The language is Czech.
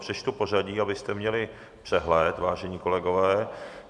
Přečtu pořadí, abyste měli přehled, vážení kolegové.